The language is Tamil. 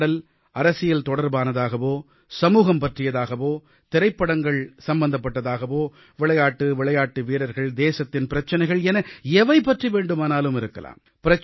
உரையாடல் அரசியல் தொடர்பானதாகவோ சமூகம் பற்றியதாகவோ திரைப்படங்கள் சம்பந்தப்பட்டதாகவோ விளையாட்டு விளையாட்டு வீரர்கள் தேசத்தின் பிரச்ச்ச்சினைகள் என எவை பற்றி வேண்டுமானாலும் இருக்கலாம்